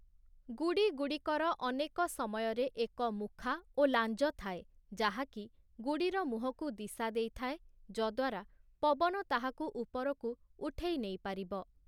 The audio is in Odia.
ଗୁଡ଼ିଗୁଡ଼ିକର ଅନେକ ସମୟରେ ଏକ ମୁଖା ଓ ଲାଞ୍ଜ ଥାଏ, ଯାହା କି ଗୁଡ଼ିର ମୁହଁକୁ ଦିଶା ଦେଇଥାଏ, ଯଦ୍ୱାରା ପବନ ତାହାକୁ ଉପରକୁ ଉଠେଇନେଇ ପାରିବ ।